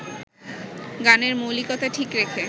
গানের মৌলিকতা ঠিক রেখে